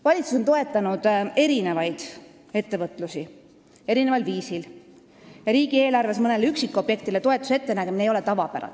Valitsus on toetanud erinevaid ettevõtmisi erineval viisil, riigieelarves mõnele üksikobjektile toetuse ettenägemine ei ole tavapäratu.